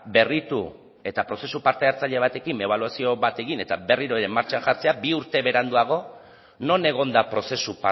berritu eta prozesu parte hartzaile batekin ebaluazio bat egin eta berriro ere martxan jartzea bi urte beranduago non egon da prozesu